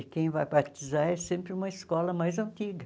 E quem vai batizar é sempre uma escola mais antiga.